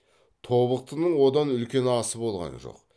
тобықтының одан үлкен асы болған жоқ